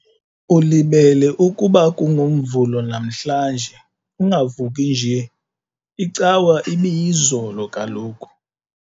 Ulibele ukuba kungoMvulo namhlanje ungavuki nje, iCawa ibiyizolo kaloku.